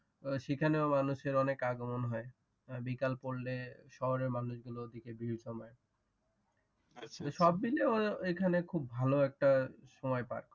সেখানেও মানুষের অনেক আগমন হয় বিকাল পরলে শহরের মানুষগুলো ঔদিকে ভীড় জমায় সবমিলে ঔখানে খুব ভালো একটা সময় পাই